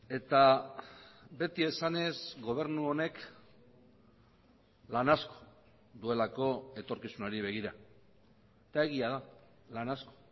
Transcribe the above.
eta beti esanez gobernu honek lan asko duelako etorkizunari begira eta egia da lan asko